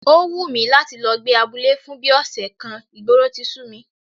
Ó wù mí láti lọ gbé abúlé fún bí ọ̀sẹ̀ kan, ìgboro ti sú mi